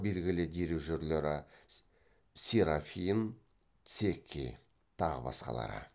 белгілі дирижерлері серафин цекки тағы басқалары